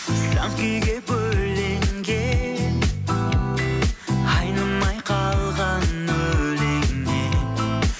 сан күйге бөленген айнымай қалған өлеңнен